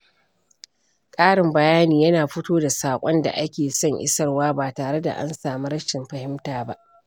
Ƙarin bayani yana fito da saƙon da ake son isarwa ba tare da an samu rashin fahimta ba.